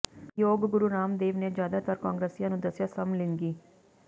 ਯੋਗ ਗੁਰੂ ਰਾਮਦੇਵ ਨੇ ਜ਼ਿਆਦਾਤਰ ਕਾਂਗਰਸੀਆਂ ਨੂੰ ਦੱਸਿਆ ਸਮਲਿੰਗੀ